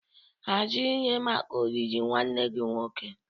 Hazie ihe maka olili nwanne gị nwoke.